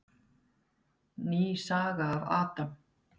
Ný saga af Adam.